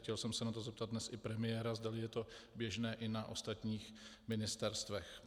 Chtěl jsem se na to zeptat dnes i premiéra, zdali je to běžné i na ostatních ministerstvech.